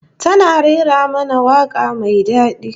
Tana rera mana waka mai dadi